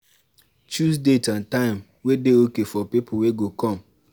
choose date and time wey dey okay for di pipo wey go come